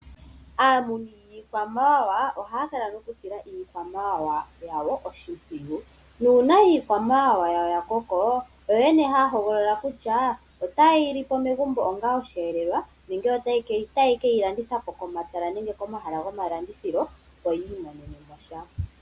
Aamuni yiikwamawawa ohaya kala nokusila iikwamawawa yawo oshimpwiyu, nuuna iikwamawawa yawo ya koko oyo yene haya hogolola kutya otaye yi li po megumbo onga osheelelwa nenge otaye keyi landitha po komatala nenge komahala gomalandithilo yo yi imonene mo sha.